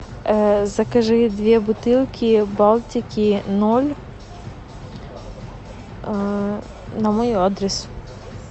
закажи две бутылки балтики ноль на мой адрес